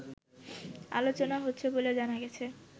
আলোচনা হচ্ছে বলে জানা গেছে